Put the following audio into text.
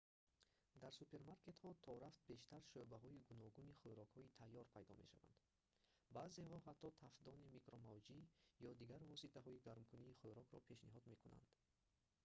дар супермаркетҳо торафт бештар шӯъбаҳои гуногуни хӯрокҳои тайёр пайдо мешаванд баъзеҳо ҳатто тафдони микромавҷӣ ё дигар воситаҳои гармкунии хӯрокро пешниҳод мекунанд